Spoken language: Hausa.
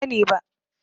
Ban sani ba.